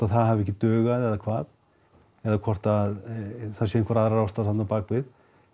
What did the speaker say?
það hafi ekki dugað eða hvað eða hvort það séu einhverjar aðrar ástæður þarna á bak við